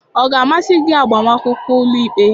Ọ ga-amasị gị agbamakwụkwọ ụlọikpe?